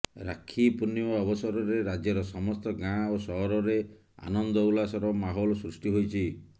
ରାକ୍ଷୀ ପୂର୍ଣ୍ଣିମା ଅବସରରେ ରାଜ୍ୟର ସମସ୍ତ ଗାଁ ଓ ସହରରେ ଆନନ୍ଦ ଉଲ୍ଲାସର ମାହୋଲ ସୃଷ୍ଟି ହୋଇଛି